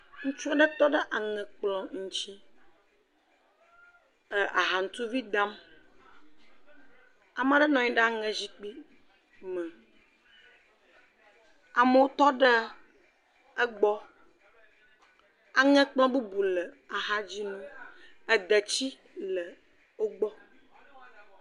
Ŋutsu aɖe tɔ ɖe aŋe kplɔ ŋuti ee…ahanutuvi dam, ame aɖe nɔ anyi ɖe aŋe zikpui me, amewo tɔ ɖe egbɔ, aŋe kplɔ bubu le axa dzi na wo, ede tsi le wo gbɔ.